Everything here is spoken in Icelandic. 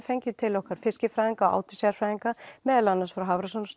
fengum til okkar fiskifræðinga meðal annars frá